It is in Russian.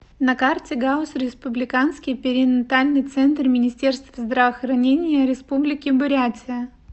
на карте гауз республиканский перинатальный центр министерства здравоохранения республики бурятия